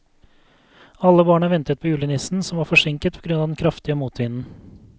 Alle barna ventet på julenissen, som var forsinket på grunn av den kraftige motvinden.